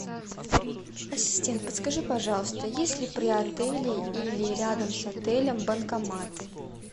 ассистент подскажи пожалуйста есть ли при отеле или рядом с отелем банкоматы